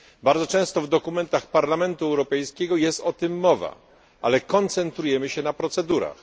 Bardzo często w dokumentach Parlamentu Europejskiego jest o tym mowa, ale koncentrujemy się na procedurach.